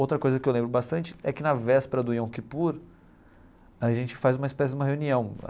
Outra coisa que eu lembro bastante é que na véspera do Yom Kippur, a gente faz uma espécie de uma reunião.